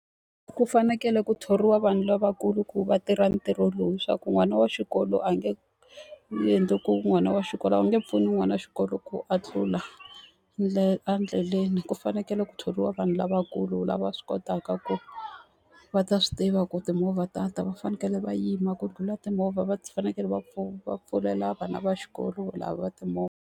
Ku fanekele ku thoriwa vanhu lavakulu ku va tirha ntirho lowu, hi swa ku n'wana wa xikolo a nge endli ku n'wana wa xikolo a wu nge pfuni n'wana wa xikolo ku a tlula endleleni. Ku fanekele ku thoriwa vanhu lavakulu, lava swi kotaka ku va ta swi tiva ku timovha ta ta. Va fanekele va yima ku ndlhula timovha va fanekele va va pfulela vana va xikolo lava timovha.